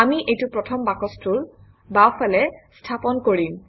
আমি এইটো প্ৰথম বাকচটোৰ বাওঁফালে স্থাপন কৰিম